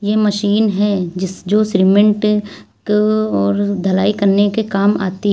ये मशीन हैं जिस जो सीमेंट को और ढलाई करने के काम आती है।